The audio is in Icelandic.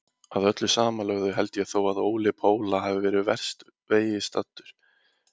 Að öllu samanlögðu held ég þó að Óli Póla hafi verið verst vegi staddur.